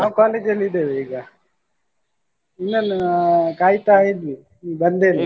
ನಾವ್ college ಅಲ್ಲಿ ಇದ್ದೇವೆ ಈಗಾ ನಿನ್ನನ ಕಾಯ್ತಾ ಇದ್ನಿ ಬಂದೆ .